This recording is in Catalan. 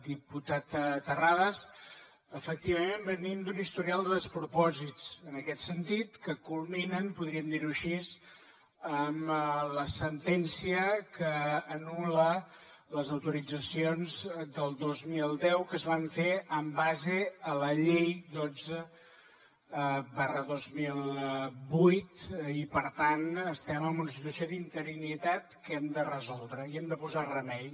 diputat terrades efectivament venim d’un historial de despropòsits en aquest sentit que culminen podríem dir ho així amb la sentència que anul·la les autoritzacions del dos mil deu que es van fer en base a la llei dotze dos mil vuit i per tant estem en una situació d’interinitat que hem de resoldre hi hem de posar remei